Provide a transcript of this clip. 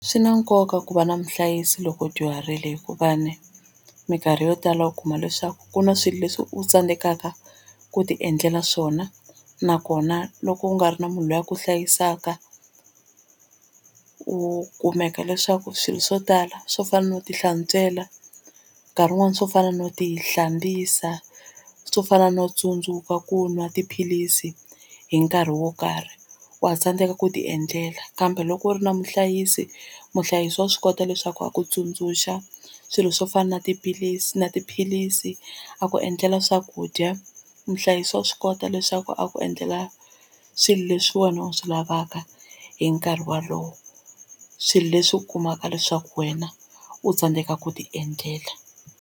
Swi na nkoka ku va na muhlayisi loko dyuharile hikuva ni mikarhi yo tala u kuma leswaku ku na swilo leswi u tsandzekaka ku ti endlela swona nakona loko u nga ri na munhu loyi a ku hlayisaka u u kumeka leswaku swilo swo tala swo fana no tihlantswela nkarhi wun'wani swo fana no tihlambisa swo fana no tsundzuka ku nwa tiphilisi hi nkarhi wo karhi wa tsandzeka ku ti endlela kambe loko u ri na muhlayisi muhlayisi wa swi kota leswaku a ku tsundzuxa swilo swo fana na tiphilisi na tiphilisi a ku endlela swakudya muhlayisi wa swi kota leswaku a ku endlela swilo leswi wena u swi lavaka hi nkarhi wolowo swilo leswi u kumaka leswaku wena u tsandzeka ku tiendlela.